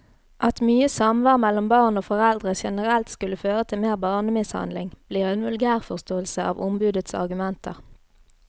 At mye samvær mellom barn og foreldre generelt skulle føre til mer barnemishandling, blir en vulgærforståelse av ombudets argumenter.